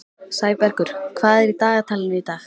Sæbergur, hvað er í dagatalinu í dag?